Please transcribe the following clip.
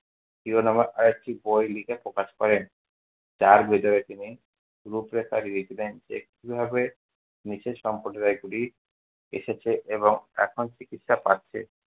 শিরোনামে আর একটি বই লিখে প্রকাশ করেন। যার ভেতরে তিনি রূপরেখা দিয়েছিলেন যে কিভাবে নিচু সম্প্রদায়গুলি এসেছে এবং এখন চিকিৎসা পাচ্ছে।